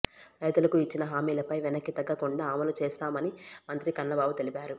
రైతులకు ఇచ్చిన హామీలపై వెనక్కి తగ్గకుండా అమలు చేస్తున్నామని మంత్రి కన్నబాబు తెలిపారు